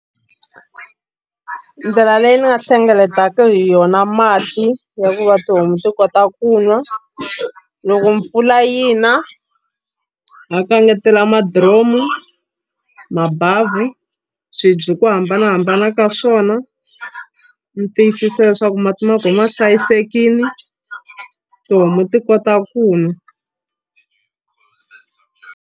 Ndlela leyi ni nga hlengeletaka hi yona mati ya ku va tihomu ti kota ku nwa loko mpfula yi na ni kangetela madiromo mabhavhu swibye hi ku hambanahambana ka swona ni tiyisisa leswaku mati ma kona ma hlayisekile tihomu ti kota ku nwa.